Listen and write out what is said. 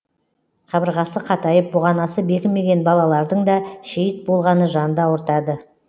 қабырғасы қатайып бұғанасы бекімеген балалардың да шейіт болғаны жанды ауыртады